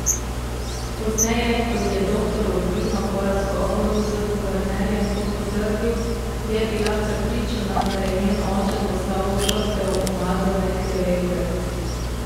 Pozneje, ko ji je doktor Urbino, po razgovoru z guvernerjem to potrdil, je bila prepričana, da je njen oče postal žrtev umazane klevete.